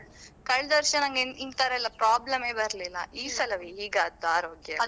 ಕಳ್ದಾವರ್ಷ ನಂಗೆ ಈ ತರ ಎಲ್ಲ problem ಯೇ ಇರ್ತಿರ್ಲಿಲ್ಲ. ಈ ಸಲವೇ ಹೀಗೆ ಆದಾದ್ದು ಆರೋಗ್ಯ ಎಲ್ಲ.